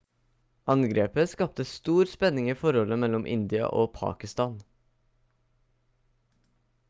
angrepet skapte stor spenning i forholdet mellom india og pakistan